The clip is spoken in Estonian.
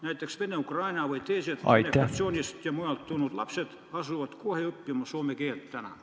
Seal asuvad näiteks Venemaalt, Ukrainast või mujalt tulnud lapsed kohe õppima soome keelt.